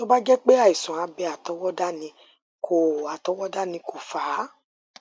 tó bá jé pé àìsàn abẹ àtọwọdá ni kò àtọwọdá ni kò fà á